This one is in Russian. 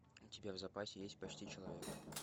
у тебя в запасе есть почти человек